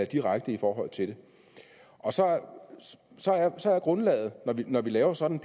direkte i forhold til det og så så er grundlaget når vi laver sådan